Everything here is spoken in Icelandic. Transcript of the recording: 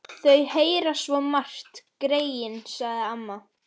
Þau heyra svo margt, greyin, sagði amma.